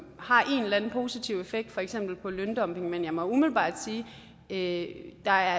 har en eller anden positiv effekt på for eksempel løndumping men jeg må umiddelbart sige at der